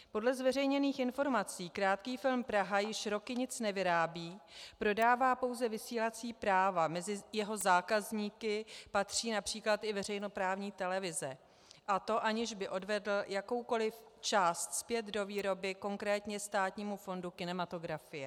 Podle zveřejněných informací Krátký film Praha již roky nic nevyrábí, prodává pouze vysílací práva, mezi jeho zákazníky patří například i veřejnoprávní televize, a to aniž by odvedl jakoukoli část zpět do výroby konkrétně Státnímu fondu kinematografie.